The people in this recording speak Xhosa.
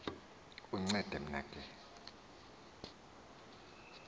uncede mna ke